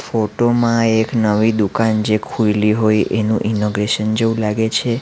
Photo માં એક નવી દુકાન જે ખોઈલી હોય એનું ઇનોગ્રેશન જેવું લાગે છે.